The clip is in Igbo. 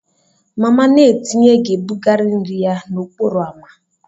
Mama na-etinye ga-ebugari nri ya n'okporo ámá.